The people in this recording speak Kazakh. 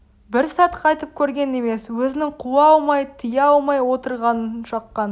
бір сәт қайтып көрген емес өзінің қуа алмай тыя алмай отырғанын шаққан